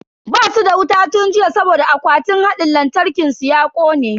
Basu da wuta tun jiya saboda akwatin hadin lantarkin su ya kone.